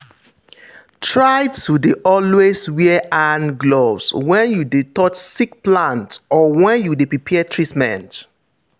try to dey always wear hand gloves when you dey touch sick plants or when you dey prepare treatment.